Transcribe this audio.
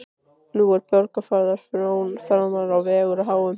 Nú er Borgarfjarðar frón framfara á vegi háum.